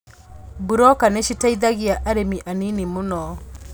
Buroka nĩciteithagia arĩmi anini mũno